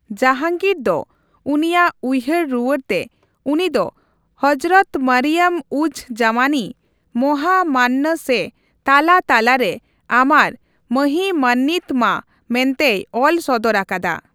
ᱡᱟᱦᱟᱝᱜᱤᱨ ᱫᱚ ᱩᱱᱤᱭᱟᱜ ᱩᱭᱦᱟᱹᱨᱼᱨᱩᱣᱟᱹᱲᱛᱮ ᱩᱱᱤ ᱫᱚ ᱦᱚᱡᱨᱚᱛ ᱢᱚᱨᱤᱭᱚᱢᱼᱩᱡᱼᱡᱟᱢᱟᱱᱤ, ᱢᱟᱦᱟᱢᱟᱱᱱᱚ ᱥᱮ ᱛᱟᱞᱟ ᱛᱟᱞᱟ ᱨᱮ ᱟᱢᱟᱨ ᱢᱚᱦᱤᱢᱟᱱᱱᱤᱛᱚ ᱢᱟ ᱢᱮᱱᱛᱮᱭ ᱚᱞ ᱥᱚᱫᱚᱨᱟᱠᱟᱫᱟ ᱾